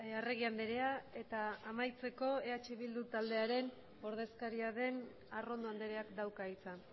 arregi andrea eta amaitzeko eh bildu taldearen ordezkaria den arrondo andreak dauka hitza